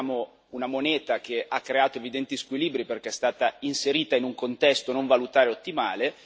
Abbiamo una moneta che ha creato evidenti squilibri perché è stata inserita in un contesto non valutario ottimale.